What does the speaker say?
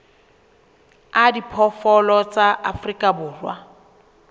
a diphoofolo tsa afrika borwa